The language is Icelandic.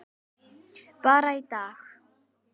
Bara í dag.